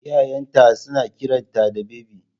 Iyayen ta suna kiranta da Bebi